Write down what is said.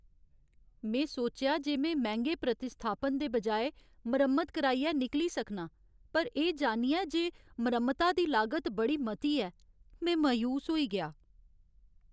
में सोचेआ जे में मैंह्गे प्रतिस्थापन दे बजाए मरम्मत कराइयै निकली सकनां, पर एह् जानियै जे मरम्मता दी लागत बड़ी मती ऐ, में मायूस होई गेआ।